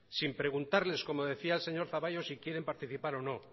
sin preguntarles como decía el señor zaballos si quieren participar o no